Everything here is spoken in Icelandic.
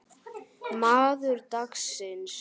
Maður dagsins?